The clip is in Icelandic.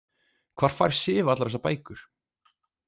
Hvar fær Sif allar þessar bækur?